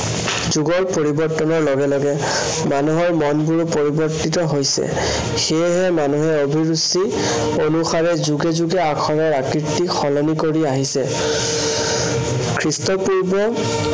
যুগৰ পৰিৱৰ্তনৰ লগে লগে মানুহৰ মনবোৰো পৰিৱৰ্তিত হৈছে। সেয়েহে মানুহে অভিৰুচি অনুসাৰে যুগে যুগে আখৰৰ আকৃতি সলনি কৰি আহিছে। খ্ৰীষ্টপূৰ্ব